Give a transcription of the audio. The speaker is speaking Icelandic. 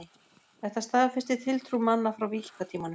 Þetta staðfestir tiltrú manna frá víkingatímanum.